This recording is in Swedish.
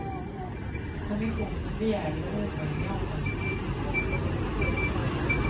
Kommissionen begärde det omöjliga av henne.